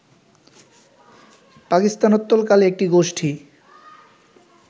পাকিস্তানোত্তরকালে একটি গোষ্ঠী